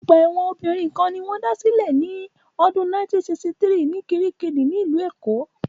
Ọgbà ẹ̀wọ̀n obìnrin kan ṣoṣo ni wón dá sílẹ̀ ní ọdún 1963 ní kiríkirì ní ìlú Èkó